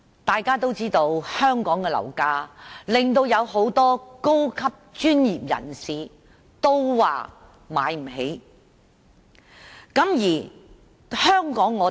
大家皆知道，香港的樓價令很多高級專業人士也無法負擔。